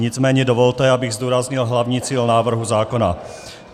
Nicméně dovolte, abych zdůraznil hlavní cíl návrhu zákona.